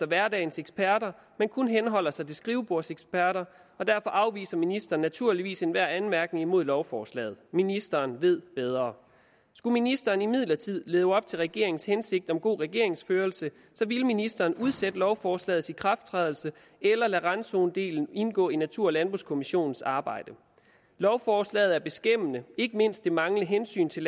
hverdagens eksperter men kun henholder sig til skrivebordseksperter derfor afviser ministeren naturligvis enhver anmærkning imod lovforslaget ministeren ved bedre skulle ministeren imidlertid leve op til regeringens hensigt om god regeringsførelse ville ministeren udsætte lovforslagets ikrafttrædelse eller lade randzonedelen indgå i natur og landbrugskommissionens arbejde lovforslaget er beskæmmende ikke mindst det manglende hensyn til